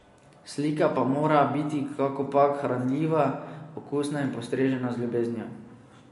Slika pa mora biti kakopak hranljiva, okusna in postrežena z ljubeznijo.